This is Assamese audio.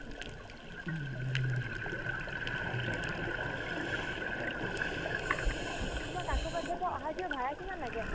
তোমাৰ কাকোপথাৰৰ পৰা অহাৰ কিবা ভাৰা কিমান লাগে ?